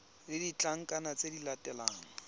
le ditlankana tse di latelang